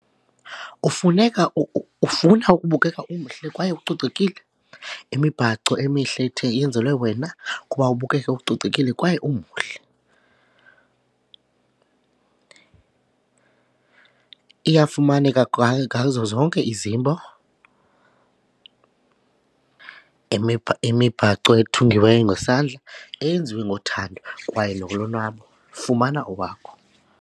Kufuneka, ufuna ukubukeka umhle kwaye ucocekile? Imibhaco emihle ethe yenzelwe wena kuba ubukeke ucocekile kwaye umuhle iyafumaneka ngazo zonke izimbo, imibhaco ethungiweyo ngesandla eyenziwe ngothando kwaye nolonwabo fumana owakho.